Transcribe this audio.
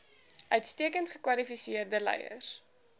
uitstekend gekwalifiseerde leiers